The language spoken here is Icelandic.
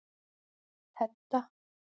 Hedda